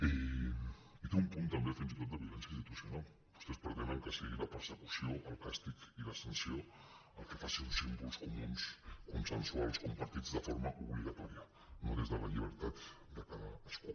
i té un punt també fins i tot de violència institucional vostès pretenen que sigui la persecució el càstig i la sanció el que faci uns símbols comuns consensuals compartits de forma obligatòria no des de la llibertat de cadascú